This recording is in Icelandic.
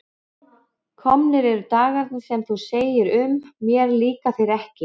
Komnir eru dagarnir sem þú segir um: mér líka þeir ekki.